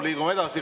Liigume edasi.